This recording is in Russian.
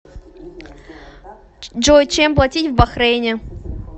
джой чем платить в бахрейне